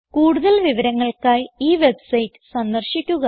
കൂടുതൽ വിവരങ്ങൾക്കായി ഈ വെബ്സൈറ്റ് സന്ദർശിക്കുക